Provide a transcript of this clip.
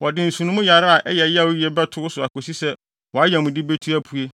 wɔde nsono mu yare a ɛyɛ yaw yiye bɛto wo so akosi sɛ wʼayamude betu apue.’ ”